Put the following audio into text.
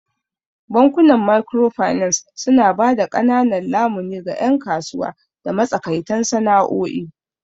Bankunan Microfinance suna ba da ƙananan lamuni ga 'yan kasuwa da matsakaitan sana'o'i.